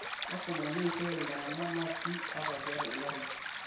Lasima neishop iltung'ana maski ata tiatua ngarrin